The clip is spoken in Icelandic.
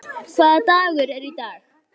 Hólmar, hvaða dagur er í dag?